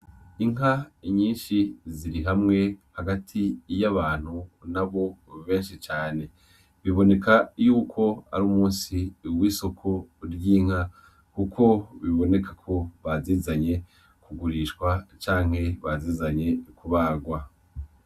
Inka nyinshi ziri hamwe hagati y'abantu n'abo benshi cane, biboneka yuko ar'umusi w'isoko ry'inka kuko bibonekako bazizanye kugurishwa canke bazizanye kubagwa.